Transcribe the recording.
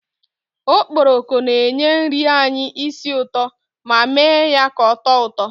Okporoko na-enye nri anyị isi ụtọ ma mee ya ka oto uto